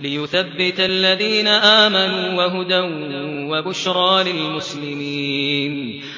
لِيُثَبِّتَ الَّذِينَ آمَنُوا وَهُدًى وَبُشْرَىٰ لِلْمُسْلِمِينَ